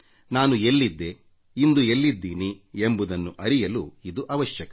ನಾನು ಎಲ್ಲಿದ್ದೆ ಇಂದು ಎಲ್ಲಿದ್ದೀನಿ ಎಂಬುದನ್ನು ಅರಿಯಲು ಇದು ಅವಶ್ಯಕ